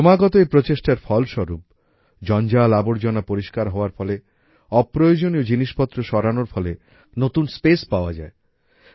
ক্রমাগত এই প্রচেষ্টার ফলস্বরূপ জঞ্জালআবর্জনা পরিষ্কার হওয়ার ফলে অপ্রয়োজনীয় জিনিসপত্র সরানোর ফলে দপ্তরে অনেক জায়গা বেরিয়ে আসে নতুন স্পেস পাওয়া যায়